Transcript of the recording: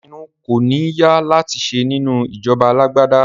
Ìpinnu kò ní ya láti ṣe nínú ìjọba alágbádá